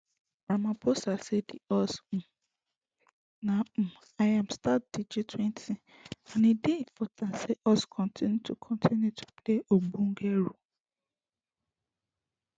ramaphosa say di us um na um im start di gtwenty and e dey important say us continue to continue to play ogbonge role